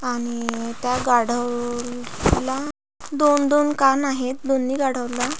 आणि त्या गाढवला दोन दोन कान आहेत दोन्ही गाढवला --